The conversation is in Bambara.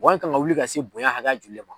kan ka wuli ka se bonya hakɛ ya jumɛn ma.